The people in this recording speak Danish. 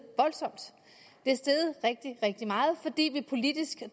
rigtig rigtig meget fordi vi politisk